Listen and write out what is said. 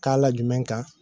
K'a la jumɛn kan